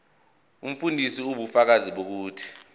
umfundisi ubufakazi bokuthi